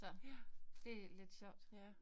Så det lidt sjovt